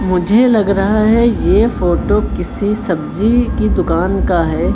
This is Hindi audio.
मुझे लग रहा है ये फोटो किसी सब्जी की दुकान का है।